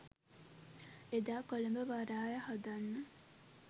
එදා කොළඹ වරාය හදන්න